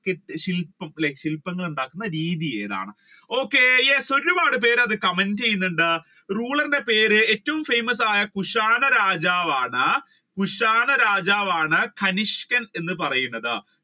ശിൽപം അല്ലെ ശില്പങ്ങൾ ഉണ്ടാക്കുന്ന രീതി ഏതാണ് okay yes ഒരുപാട് പേര് ചെയ്യുന്നുണ്ട് ruler ന്റെ പേര് ഏറ്റവും famous ആയ കുഷാണ രാജാവാണ്. കുഷാണ രാജാവാണ് തരിഷ്ക്കൻ എന്ന് പറയുന്നത്